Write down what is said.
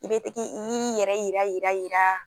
I be tigi i yɛrɛ yira yira yira